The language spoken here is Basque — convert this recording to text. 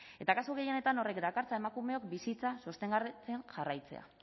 eta kasu gehienetan horrek dakartzan emakumeok bizitza sostengatzea jarraitzea